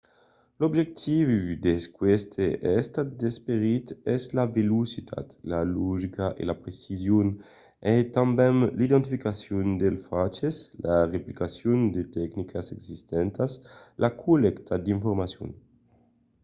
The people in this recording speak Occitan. l'objectiu d’aqueste estat d'esperit es la velocitat la logica e la precision e tanben l'identificacion dels faches la reaplicacion de tecnicas existentas la collècta d’informacion